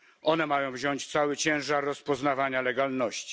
One mają wziąć na siebie cały ciężar rozpoznawania legalności.